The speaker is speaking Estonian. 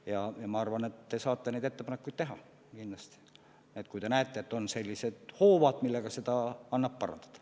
Ja ma arvan, et te saate kindlasti neid ettepanekuid teha, kui te näete, et on sellised hoovad, millega asja annab parandada.